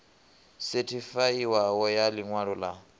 sethifaiwaho ya ḽi ṅwalo ḽa